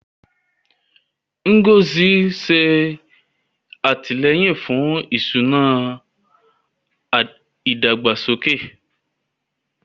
Ngozi ń ṣe àtìlẹ́yìn fún ìṣúná ìdàgbàsókè.